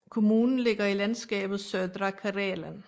Kommunen ligger i landskabet Södra Karelen